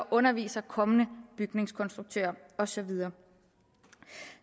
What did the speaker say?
underviser kommende bygningskonstruktører og så videre